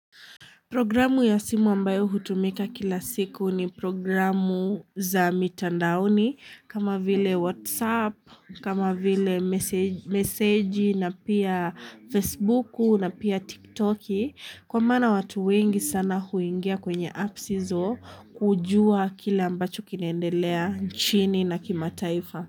Programu ya simu ambayo hutumika kila siku ni programu za mitandaoni kama vile whatsapp, kama vile meseji na pia facebooku na pia tiktoki. Kwa maana watu wengi sana huingia kwenye apps izo kujua kile ambacho kinaendelea nchini na kimataifa.